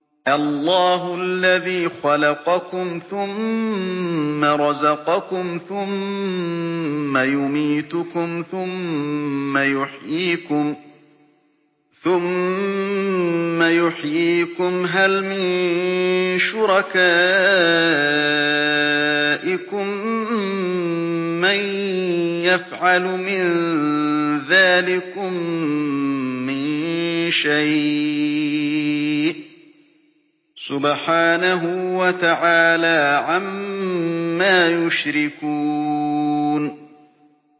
اللَّهُ الَّذِي خَلَقَكُمْ ثُمَّ رَزَقَكُمْ ثُمَّ يُمِيتُكُمْ ثُمَّ يُحْيِيكُمْ ۖ هَلْ مِن شُرَكَائِكُم مَّن يَفْعَلُ مِن ذَٰلِكُم مِّن شَيْءٍ ۚ سُبْحَانَهُ وَتَعَالَىٰ عَمَّا يُشْرِكُونَ